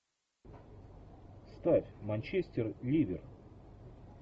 ставь манчестер ливер